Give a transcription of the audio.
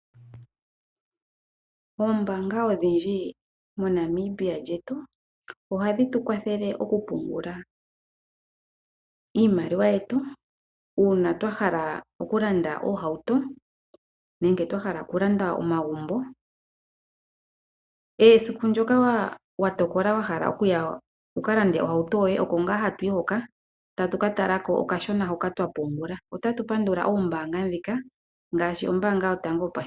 Oombaanga odhindji moNamibia lyetu, ohadhi tu kwathele okupungula iimaliwa yetu uuna twa hala okulanda iihauto nenge twa hala okulanda omagumbo. Esiku ndyoka wa tokola okulanda ohauto yoye oko ngaa ho yi hoka to ka tala ko okashona hoka wa pungula. Otatu pandula oombaanga ndhika ngaashi Ombaanga Yotango Yopashigwana.